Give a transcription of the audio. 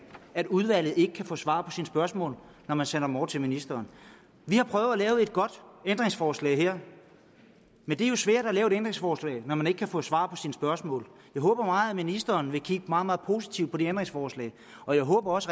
at udvalget ikke kan få svar på sine spørgsmål når man sender dem over til ministeren vi har prøvet at lave et godt ændringsforslag her men det er jo svært at lave ændringsforslag når man ikke kan få svar på sine spørgsmål jeg håber meget at ministeren vil kigge meget meget positivt på de ændringsforslag og jeg håber også